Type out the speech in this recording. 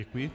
Děkuji.